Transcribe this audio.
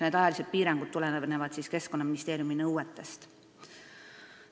Ajalised piirangud tulenevad Keskkonnaministeeriumi nõuetest.